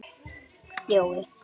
Jói var í góðu skapi.